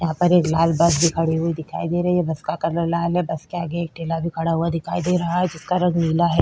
यहाँ पर एक लाल बस भी खड़ी हुई दिखाई दे रही है बस का कलर लाल है बस के आगे एक ठेला भी खड़ा हुआ दिखाई दे रहा है जिसका रंग नीला है।